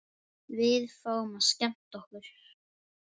Við fáum að skemmta okkur.